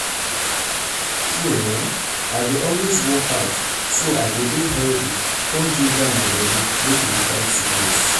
true[um]i dey always work out work out so i go dey healthy con ginger my body make e dey fight sickness.